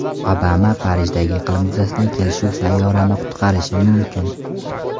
Obama: Parijdagi iqlim yuzasidan kelishuv sayyorani qutqarishi mumkin.